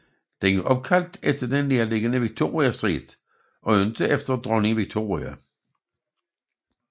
Den er opkaldt efter den nærliggende Victoria Street og ikke efter Dronning Victoria